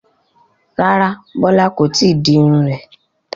Rárá Bola kò tíì di irun rẹ̀